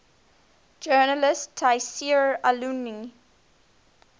journalist tayseer allouni